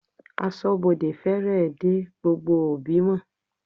Aṣọ́bodè fèrè dá gbogbo òbí mọ̀.